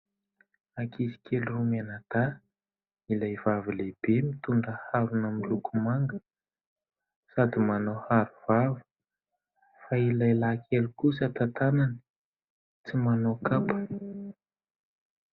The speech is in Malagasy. Ankizy kely roa mianadahy : ilay vavy lehibe mitondra harona miloko manga sady manao arovava fa ilay lahy kely kosa tantanany, tsy manao kapa.